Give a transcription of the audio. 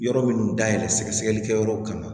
Yɔrɔ minnu dayɛlɛ sɛgɛ sɛgɛlikɛyɔrɔw kan